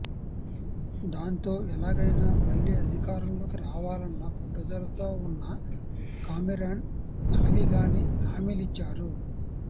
దాంతో ఎలాగైనా మళ్లీ అధికారంలోకి రావాలన్న పట్టుదలతో ఉన్న కామెరాన్ అలవిగాని హామీలిచ్చారు